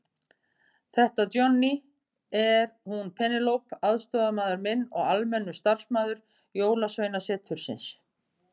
Þetta Johnny, er hún Penélope aðstoðarmaður minn og almennur starfsmaður Jólasveinasetursins.